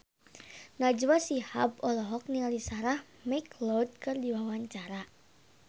Najwa Shihab olohok ningali Sarah McLeod keur diwawancara